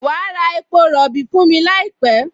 Wà á ra epo rọ̀bì fún mi láìpẹ́!